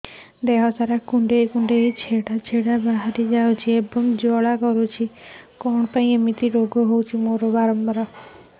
ଦେହ ସାରା କୁଣ୍ଡେଇ କୁଣ୍ଡେଇ ଛେଡ଼ା ଛେଡ଼ା ବାହାରି ଯାଉଛି ଏବଂ ଜ୍ୱାଳା କରୁଛି